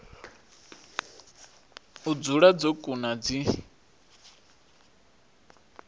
u dzula dzo kuna dzi